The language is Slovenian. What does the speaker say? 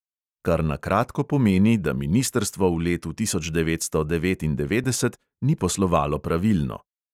Kar na kratko pomeni, da ministrstvo v letu tisoč devetsto devetindevetdeset ni poslovalo pravilno.